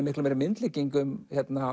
miklu meiri myndlíkingu um